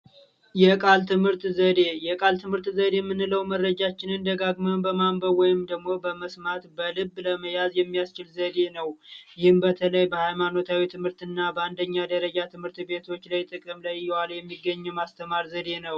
የቃል ትምህርት ዘዴ የቃል ትምህርት ዘዴ የምንለው መረጃችን ደጋግመን በማንበብ ወይም ደሞ በመስማት በልብ ለመያዝ የሚያስችል ዘዴ ነው በተለይ በሃይማኖታዊ ትምህርትና በአንደኛ ደረጃ ትምህርት ቤቶች ላይ የተቀመጠ የማስተማር ዘደ ነው